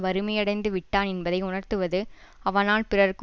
வறுமையடைந்து விட்டா என்பதை உணர்த்துவது அவனால் பிறர்க்கு